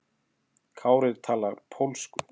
Kári talar pólsku.